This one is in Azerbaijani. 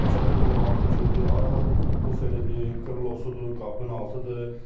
Təkər də qırılıb altına giribdir, arxa buferiidir, krilosudur, qapının altıdır.